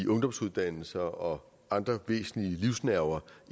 ungdomsuddannelser og andre væsentlige livsnerver